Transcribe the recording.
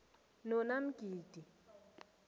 nonamgidi